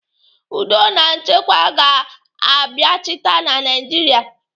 Udo na nchekwa ga-abiachịta na Naijiria.